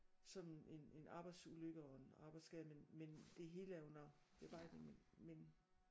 Som en en arbejdsulykke og en arbejdsskade men men det hele er under bearbejdning men